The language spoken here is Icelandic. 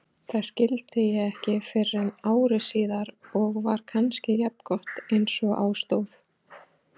Það skildi ég ekki fyrren ári síðar og var kannski jafngott einsog á stóð.